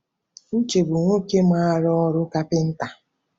Uche bụ nwoke maara ọrụ kapịnta.